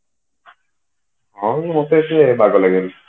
ଆଉ ମତେ ସିଏ ବାଗ ଲାଗେନି